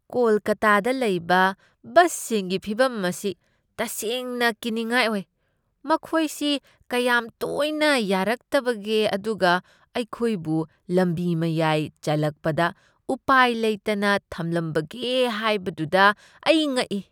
ꯀꯣꯜꯀꯥꯇꯥꯗ ꯂꯩꯕ ꯕꯁꯁꯤꯡꯒꯤ ꯐꯤꯕꯝ ꯑꯁꯤ ꯇꯁꯦꯡꯅ ꯀꯤꯅꯤꯡꯉꯥꯏ ꯑꯣꯏ! ꯃꯈꯣꯏ ꯁꯤ ꯀꯌꯥꯝ ꯇꯣꯏꯅ ꯌꯥꯔꯛꯇꯕꯒꯦ ꯑꯗꯨꯒ ꯑꯩꯈꯣꯏꯕꯨ ꯂꯝꯕꯤ ꯃꯌꯥꯏ ꯆꯜꯂꯛꯄꯗ ꯎꯄꯥꯏ ꯂꯩꯇꯅ ꯊꯝꯂꯝꯕꯒꯦ ꯍꯥꯏꯕꯗꯨꯗ ꯑꯩ ꯉꯛꯏ꯫